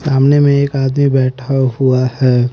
सामने में एक आदमी बैठा हुआ है।